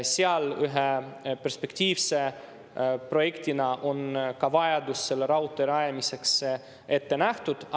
Seal ühe perspektiivse projektina on ka vajadus selle raudtee rajamiseks ette nähtud.